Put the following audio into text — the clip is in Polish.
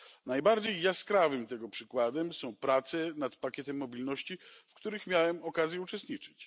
Najbardziej jaskrawym tego przykładem są prace nad pakietem mobilności, w których miałem okazję uczestniczyć.